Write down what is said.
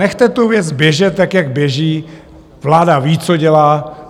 Nechte tu věc běžet tak, jak běží, vláda ví, co dělá.